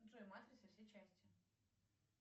джой матрица все части